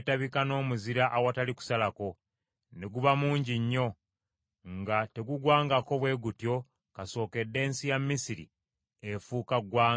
Omuzira ne gugwa, n’okumyansa ne kwetabika n’omuzira awatali kusalako, ne guba mungi nnyo, nga tegugwangako bwe gutyo kasookedde ensi ya Misiri efuuka ggwanga.